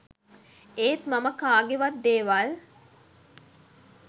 ඒත් මම කාගෙවත් දේවල්